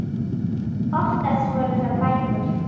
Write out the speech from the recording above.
Oftast voru það bækur.